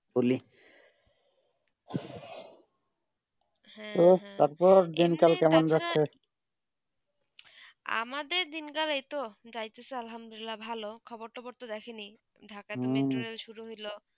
এবং হেঁ ও তার পর এমনি দেখা আমাদের দিনকার এইটা ডাইতেছে ভালো খবর তবর তা দেখি নি ঢাকা তে Dhaka শুরু হইলো